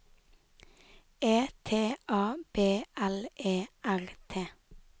E T A B L E R T